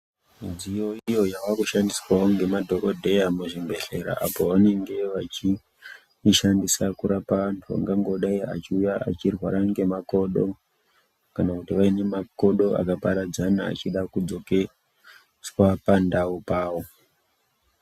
Midziyo iyo yavakushandiswawo ngemadhokodheya muzvibhedhlera apo vanenge vachiishandisa kurapa vantu vangangodayi vachiuya vachirwara ngemakodo kana kuti vaine makodo akaparadzana achida kudzokeswa pandau pawo.